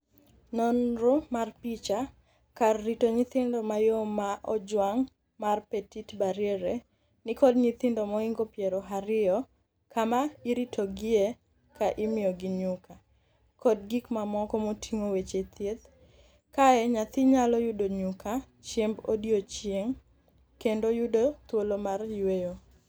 nonro mar picha. Kar rito nyithindo mayom ma ojwang' mar Petite Barriere ni kod nyithindo mohingo piero ariyo kama iritogiye ka imiyogi nyuka, kod gik mamoko moting'o weche thieth "Kae nyathi nyalo yudo nyuka, chiemb odiechieng' kendo yudo thuolo mar yueyo."